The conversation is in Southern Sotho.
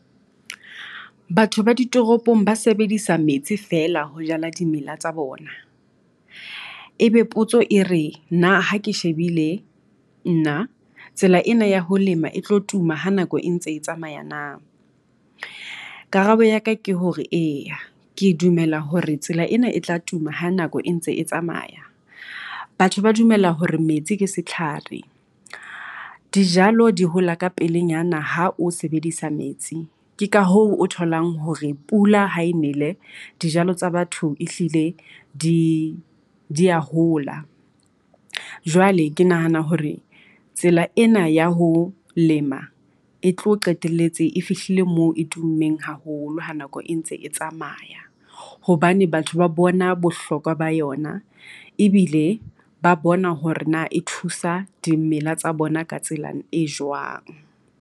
Batho ba ditoropong ba sebedisa metsi feela ho jala dimela tsa bona. E be potso e re na ha ke shebile nna tsela ena ya ho lema e tlo tuma ha nako e ntse e tsamaya na? Karabo ya ka ke hore eya ke dumela hore tsela ena e tla tuma ha nako e ntse e tsamaya. Batho ba dumela hore metsi ke setlhare, dijalo di hola ka pelenyana ha o sebedisa metsi. Ke ka hoo o tholang hore pula ha e nele, dijalo tsa batho e hlile di dia hola, jwale ke nahana hore tsela ena ya ho lema e tlo qetelletse e fihlile moo e tummeng haholo ha nako e ntse e tsamaya. Hobane batho ba bona bohlokwa ba yona ebile ba bona hore na e thusa dimela tsa bona ka tsela e jwang.